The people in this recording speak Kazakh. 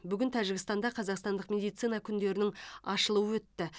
бүгін тәжікстанда қазақстандық медицина күндерінің ашылуы өтті